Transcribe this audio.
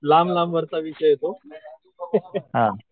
लांब लांब वरचा विषय आहे तो.